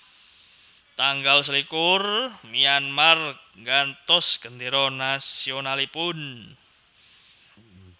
Tanggal selikur Myanmar nggantos gendéra nasionalipun